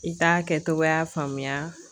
I k'a kɛcogoya faamuya